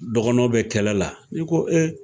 Dɔgɔnɔw bɛ kɛlɛ la, ni ko ee